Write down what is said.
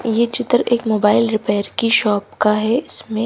ये चित्र एक मोबाइल रिपेयर की शॉप का है इसमें--